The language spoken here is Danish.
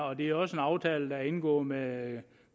og det er også en aftale der er indgået med